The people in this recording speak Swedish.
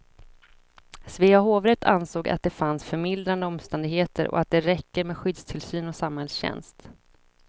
Svea hovrätt ansåg att det fanns förmildrande omständigheter och att det räcker med skyddstillsyn och samhällstjänst.